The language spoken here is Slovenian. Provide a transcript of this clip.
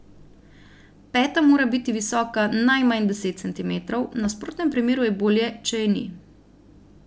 Peta mora biti visoka najmanj deset centimetrov, v nasprotnem primeru je bolje, če je ni.